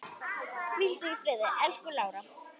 Hvíldu í friði, elsku Lára.